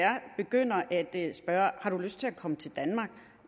spørge har du lyst til at komme til danmark